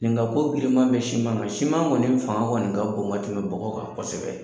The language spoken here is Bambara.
Nin ka ko giliman bɛ siman na, siman kɔni fanga kɔni ka bɔn ka tɛmɛ bɔgɔ kan kosɛbɛ.